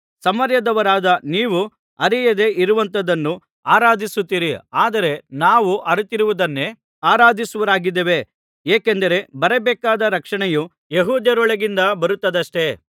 ಸಮಾರ್ಯದವರಾದ ನೀವು ಅರಿಯದೇ ಇರುವಂಥದನ್ನು ಆರಾಧಿಸುತ್ತೀರಿ ಆದರೆ ನಾವು ಅರಿತಿರುವುದನ್ನೇ ಆರಾಧಿಸುವವರಾಗಿದ್ದೇವೆ ಏಕೆಂದರೆ ಬರಬೇಕಾದ ರಕ್ಷಣೆಯು ಯೆಹೂದ್ಯರೊಳಗಿಂದ ಬರುತ್ತದಷ್ಟೆ